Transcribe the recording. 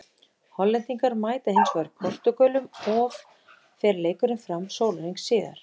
Hollendingar mæta hinsvegar Portúgölum of fer leikurinn fram sólarhring síðar.